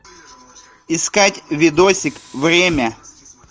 искать видосик время